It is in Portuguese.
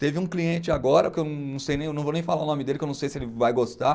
Teve um cliente agora, que eu não sei nem o, vou nem falar o nome dele, que eu não sei se ele vai gostar.